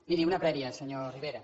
miri una prèvia senyor rivera